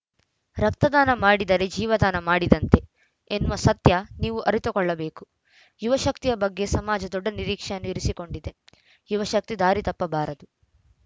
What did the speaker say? ರಕ್ತದಾನ ಮಾಡಿದರೆ ಜೀವದಾನ ಮಾಡಿದಂತೆ ಎನ್ನುವ ಸತ್ಯ ನೀವು ಅರಿತುಕೊಳ್ಳಬೇಕು ಯುವಶಕ್ತಿಯ ಬಗ್ಗೆ ಸಮಾಜ ದೊಡ್ಡ ನಿರೀಕ್ಷೆ ಇರಿಸಿಕೊಂಡಿದೆ ಯುವಶಕ್ತಿ ದಾರಿ ತಪ್ಪ ಬಾರದು